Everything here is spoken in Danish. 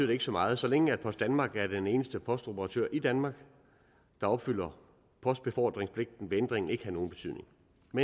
det ikke så meget så længe post danmark er den eneste postoperatør i danmark der opfylder postbefordringspligten vil ændringen ikke have nogen betydning men